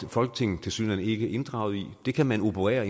folketinget tilsyneladende ikke inddraget i det kan man operere